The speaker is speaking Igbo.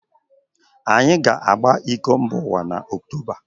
Anyị ga-agba iko mbaụwa n' ọktoba